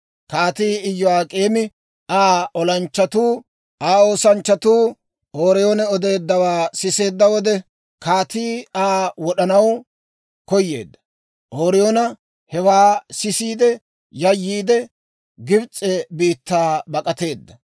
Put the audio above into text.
Kaatii Iyo'ak'eemi, Aa olanchchatuu, Aa oosanchchatuu Ooriyoon odeeddawaa siseedda wode, kaatii Aa wod'anaw koyeedda. Ooriyoon hewaa sisiide yayyiide, Gibs'e biittaa bak'ateedda.